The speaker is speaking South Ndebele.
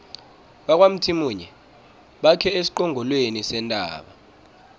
bakwamthimunye bakhe esiqongolweni sentaba